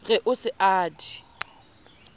re o se a di